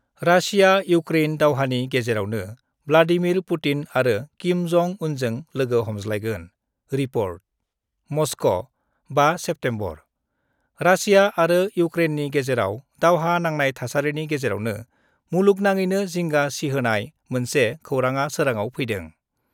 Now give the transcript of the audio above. Russia-Ukraine दावहानि गेजेरावनो Vladimir Putin आरो किम जं उनजों लोगो हमज्लायगोन रिपर्ट : मस्क', 5 सेप्तेम्बरः रासिया आरो इउक्रेननि गेजेराव दावहा नांनाय थासारिनि गेजेरावनो मुलुगनाङैनो जिंगा सिहोनाय मोनसे खौराङा सोराङाव फैदों।